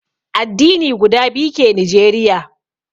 Addini guda biyu ke Nijeriya